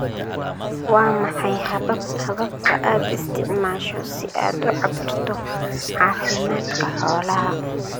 Waa maxay hababka aad isticmaasho si aad u cabbirto caafimaadka xoolaha?